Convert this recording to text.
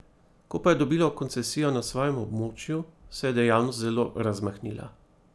Ko pa je dobilo koncesijo na svojem območju, se je dejavnost zelo razmahnila.